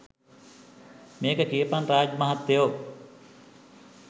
මේක කියපං රාජ් මහත්තයෝ